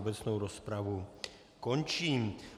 Obecnou rozpravu končím.